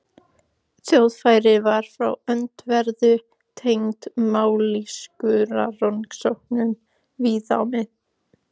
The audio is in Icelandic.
Þjóðfræði var frá öndverðu tengd mállýskurannsóknum víða á